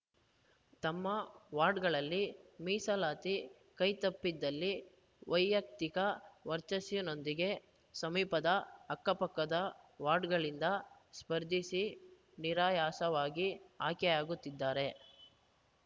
ತಮ್ಮ ವಾರ್ಡ್‌ಗಳಲ್ಲಿ ಮೀಸಲಾತಿ ಕೈತಪ್ಪಿದಲ್ಲಿ ವೈಯಕ್ತಿಕ ವರ್ಚಸ್ಸಿನೊಂದಿಗೆ ಸಮೀಪದ ಅಕ್ಕಪಕ್ಕದ ವಾರ್ಡ್‌ಗಳಿಂದ ಸ್ಪರ್ಧಿಸಿ ನಿರಾಯಾಸವಾಗಿ ಆಯ್ಕೆಯಾಗುತ್ತಿದ್ದಾರೆ